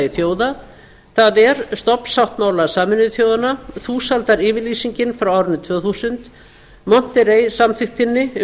þjóða það er stofnsáttmála sameinuðu þjóðanna þúsaldaryfirlýsingin frá árinu tvö þúsund monterrey samþykktinni um